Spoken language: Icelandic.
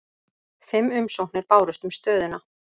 Fimm umsóknir bárust um stöðuna